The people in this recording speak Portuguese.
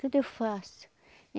Tudo eu faço.